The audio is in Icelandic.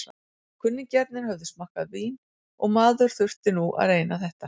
Kunningjarnir höfðu smakkað vín og maður þurfti nú að reyna þetta.